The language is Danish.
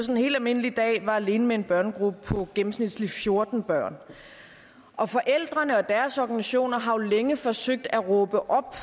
en helt almindelig dag var alene med en børnegruppe på gennemsnitlig fjorten børn og forældrene og deres organisationer har jo længe forsøgt at råbe op